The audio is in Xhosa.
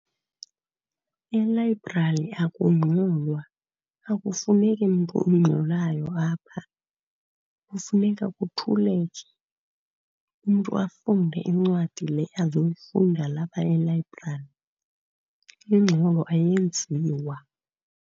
Elayibrari akungxolwa, akufuneki mntu ungxolayo apha. Kufuneka kuthuleke umntu afunde incwadi le azoyifunda lapha elayibrari. Ingxolo ayenziwa.